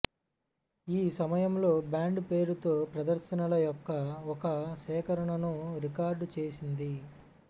ఈ సమయంలో బ్యాండ్ పేరుతో ప్రదర్శనల యొక్క ఒక సేకరణను రికార్డ్ చేసింది